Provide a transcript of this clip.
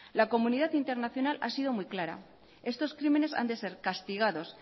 la comunidad internacional ha sido muy clara estos crímenes han de ser castigados